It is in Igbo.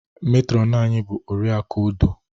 Metrọnu anyị bụ Oriakụ Odoh.